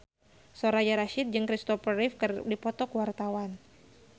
Soraya Rasyid jeung Christopher Reeve keur dipoto ku wartawan